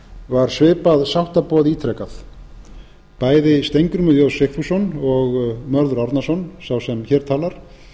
var svipað sáttaboð ítrekað bæði steingrímur j sigfússon og mörður árnason sá sem hér talar